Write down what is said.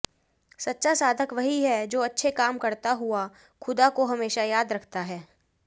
सच्चा साधक वही है जो अच्छे काम करता हुआ खुदा को हमेशा याद रखता है